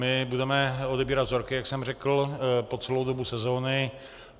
My budeme odebírat vzorky, jak jsem řekl, po celou dobu sezóny.